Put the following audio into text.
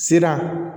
Se na